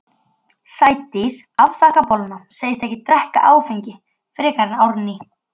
Sædís afþakkar bolluna, segist ekki drekka áfengi frekar en Árný.